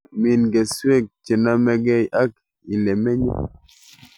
Min keswek chenomekei ak ilemenye